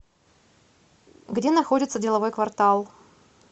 где находится деловой квартал